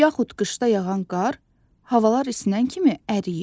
Yaxud qışda yağan qar havalar isinən kimi əriyir.